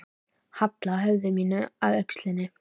Halla höfði mínu að öxl þinni.